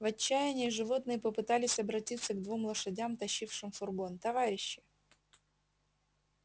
в отчаянии животные попытались обратиться к двум лошадям тащившим фургон товарищи